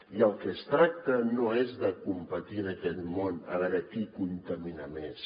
i del que es tracta no és de competir en aquest món a veure qui contamina més